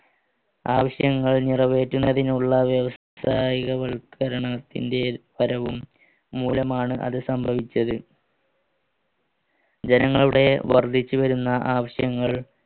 ആവശ്യങ്ങൾ നിറവേറ്റുന്നതിനുള്ള വ്യവസ്ഥികവൽക്കരണത്തിന്റെ പരവും മൂലമാണ് അത് സംഭവിച്ചത് ജനങ്ങളുടെ വർദ്ധിച്ചുവരുന്ന ആവശ്യങ്ങൾ